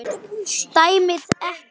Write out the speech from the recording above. Dæmið ekki.